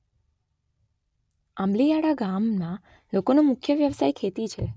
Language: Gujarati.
આંબલીયાળા ગામના લોકોનો મુખ્ય વ્યવસાય ખેતી છે.